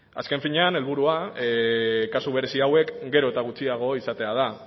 azken finean helburua kasu berezi hauek gero eta gutxiago izatea da